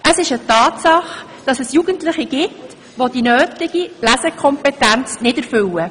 Es ist eine Tatsache, dass es Jugendliche gibt, welche die nötige Lesekompetenz nicht aufweisen.